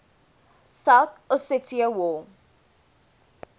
south ossetia war